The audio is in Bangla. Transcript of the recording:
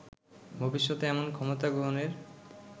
ভবিষ্যতে এমন ক্ষমতা গ্রহণের